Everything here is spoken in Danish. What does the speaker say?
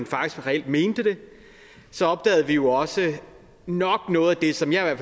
faktisk reelt mente det så opdagede vi jo også nok noget af det som jeg i